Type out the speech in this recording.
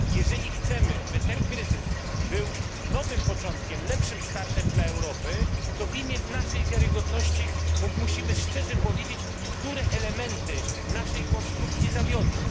Jeżeli chcemy, by ten kryzys był nowym początkiem, lepszym startem dla Europy, to w imię naszej wiarygodności musimy szczerze powiedzieć, które elementy naszej konstrukcji zawiodły.